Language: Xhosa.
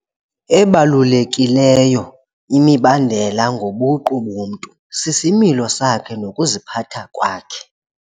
Ebalulekileyo imibandela ngobuqu bomntu sisimilo sakhe nokuziphatha kwakhe.